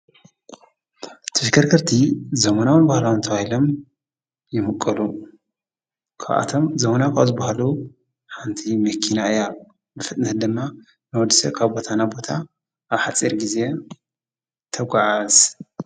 ቲፊከር ክርቲ ዘሙናውን ባህላ እንተው ይሎም ይምቀሉ ኳኣቶም ዘሙናኽ ኣዝበሃሉ ሓንቲ ምኪና እያ ልፍጥነት ድማ ነወድሰ ካብ ቦታና ቦታ ኣብ ሓፂር ጊዜ ተጐዓዕዝ።